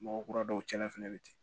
Mɔgɔ kura dɔw cɛn na fɛnɛ bɛ ten